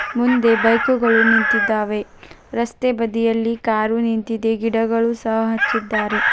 ಮುಂದೆ ಬೈಕು ಗಳು ನಿಂತಿದ್ದಾವೆ ರಸ್ತೆಬದಿಯಲ್ಲಿ ಕಾರು ನಿಂತಿದೆ ಗಿಡಗಳು ಸಹ ಹಚ್ಚಿದ್ದಾರೆ.